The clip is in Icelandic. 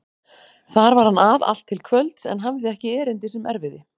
Þar var hann að allt til kvölds en hafði ekki erindi sem erfiði.